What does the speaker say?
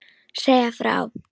Segja frá.